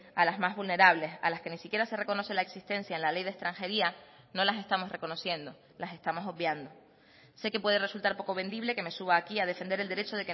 a las más vulnerables a las que ni siquiera se reconoce la existencia en la ley de extranjería no las estamos reconociendo las estamos obviando sé que puede resultar poco vendible que me suba aquí a defender el derecho